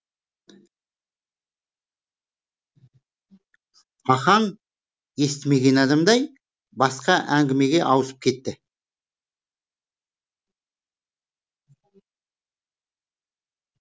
ахаң естімеген адамдай басқа әңгімеге ауысып кетті